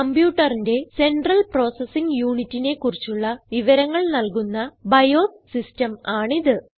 കംപ്യൂട്ടറിന്റെ central processing unitനെ കുറിച്ചുള്ള വിവരങ്ങൾ നല്കുന്ന ബയോസ് സിസ്റ്റം ആണിത്